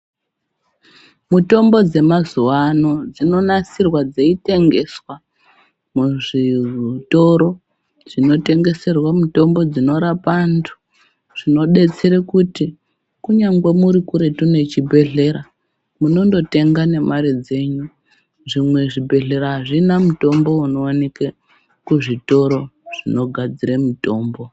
Mutombo dzemazuwa ano dzinonasirwa dzeitengeswa muzvitoro zvinotengeserwe mitombo dzinorapa antu zvinodetsere kuti kunyangwe muri kuretu nechibhedhlera, munondotenga nemare dzenyu. Zvimwe zvibhedhlera hazvina mushonga unowanike kuzvitoro zvinogadzire mitombo.